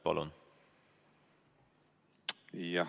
Palun!